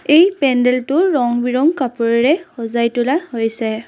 এই পেণ্ডেটো ৰং বিৰংঙ কাপোৰেৰে সজাই তোলা হৈছে।